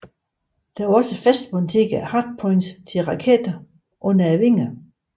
Der var også fastmonterede hardpoints til raketter under vingerne